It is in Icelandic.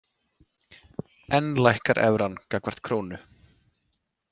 Enn lækkar evran gagnvart krónu